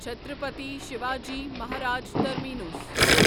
Chhatrapati Shivaji Maharaj terminus